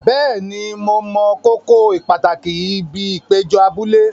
Bẹ́ẹ̀ni, mo mọ kókó pàtàkì ibi ìpéjọ abúlé.